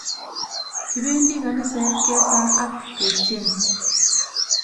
Kipendi kaniset kesa ak ketyen